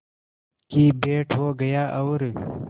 की भेंट हो गया और